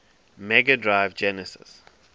mega drive genesis